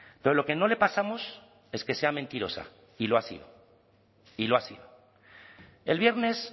pero lo que no le pasamos es que sea mentirosa y lo ha sido y lo ha sido el viernes